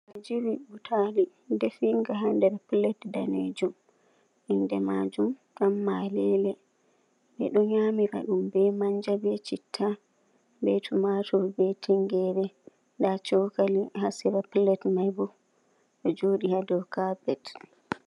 Ngajiri butali, defiga ha nder pilet daneejuum, inde majuuum ɗan malele, ɓeɗo nyamira ɗum be manja, ɓe citta, ɓe tumatur, ɓe tingere nda cokali ha sera pilet maibo, ɗo jooɗi ha dou kapet.